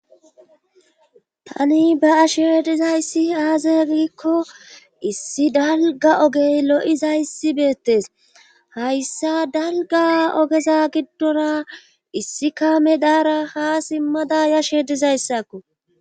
tani beyashe dizayssi aaze giikko issi dalga ogey lo7izayssi beettes hayssa dalga ogeza giddora issi kame daara ha simmada yashe dizayssakko